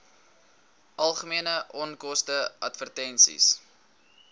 algemene onkoste advertensies